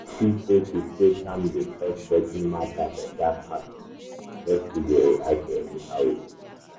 i see sey to stay calm dey help settle matter better pass to just dey react anyhow with emotion.